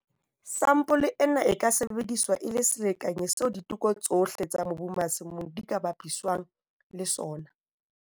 Sampole ena e ka sebediswa e le selekanyi seo diteko tsohle tsa mobu masimong di ka bapiswang le sona.